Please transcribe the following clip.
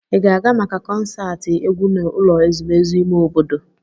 Ị ga-aga maka konserti egwu n'ụlọ ezumezu ime obodo?